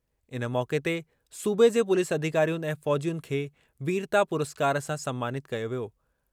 इन मौक़े ते सूबे जे पुलिस अधिकारियुनि ऐं फ़ौजियुनि खे वीरता पुरस्कार सां सन्मानितु कयो वियो।